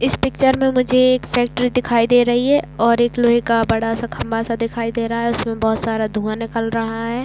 इस पिक्चर में मुझे एक फैक्ट्री दिखाई दे रही है और एक लोहे का बड़ा सा खम्भा सा दिखाई दे रहा है उसमे बहोत सारा धुंआ निकल रहा है।